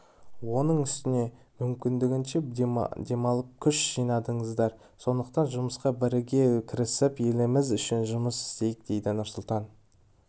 оның үстіне мүмкіндігінше демалып күш жинадыңыздар сондықтан жұмысқа бірге кірісіп еліміз үшін жұмыс істейік деді нұрсұлтан